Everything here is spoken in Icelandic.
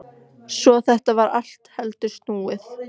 Svo þetta var allt heldur snúið.